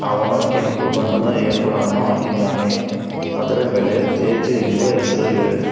ಅವನು ಕೆಂಪು ಬಣ್ಣದ ಏಪ್ರಾನ್ ಅನ್ನು ಹಾಕಿದ್ದಾನೆ ಅದರ ಮೇಲೆ ತೇಜು ಎಂಬ ಹೆಸರು ಇವೆ.